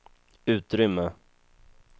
utrymme